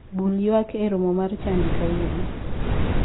Bul ywak e romo mar chadi kawuono.